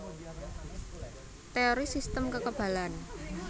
Teori sistem kekebalan